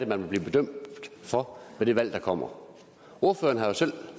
man vil blive bedømt for ved det valg der kommer ordføreren har jo selv